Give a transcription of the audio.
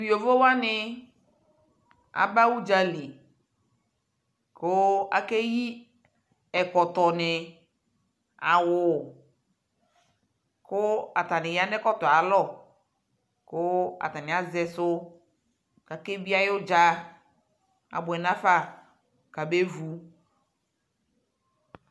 Tʋ yovowani aba udza lι kʋ akeyi ɛkɔtɔ nι, awu kʋ atani ya nʋ ɛkɔtɔ yɛ alɔ kʋ atani aze su kʋ akebie ayʋ udza Abuɛ nafa kʋ abevu